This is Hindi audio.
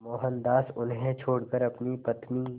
मोहनदास उन्हें छोड़कर अपनी पत्नी